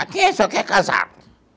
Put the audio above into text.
Aqui só quem é casado.